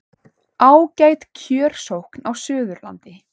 Ágæt kjörsókn á Suðurlandi